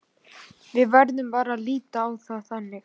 Við verðum bara að líta á það þannig.